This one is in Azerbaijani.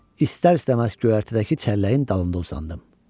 İstər-istəməz göyərtədəki çəlləyin dalında uzandım.